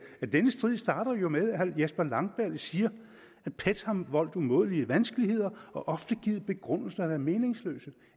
at denne strid jo starter med at herre jesper langballe siger at pet har voldt umådelige vanskeligheder og ofte givet begrundelser der er meningsløse